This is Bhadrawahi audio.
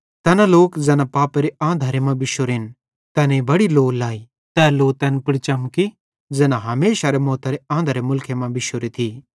तैना लोक ज़ैना पापेरे आंधरे मां बिश्शोरेन तैनेईं बड्डी लो लई तै लो तैन पुड़ चमकी ज़ैना हमेशारे मौतारे आंधरेरे मुलखे मां बिश्शोरेन